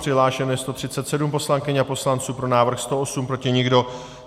Přihlášeno je 137 poslankyň a poslanců, pro návrh 108, proti nikdo.